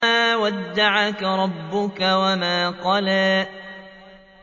مَا وَدَّعَكَ رَبُّكَ وَمَا قَلَىٰ